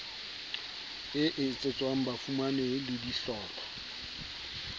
e etsetswang bafumanehi le dihlopha